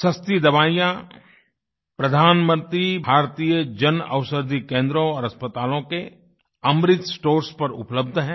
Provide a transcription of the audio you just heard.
सस्ती दवाइयाँ प्रधानमंत्री भारतीय जनऔषधि केन्द्रों और अस्पतालों के अमृत स्टोर्स पर उपलब्ध हैं